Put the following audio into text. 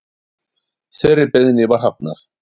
Þeirri beiðni var hafnað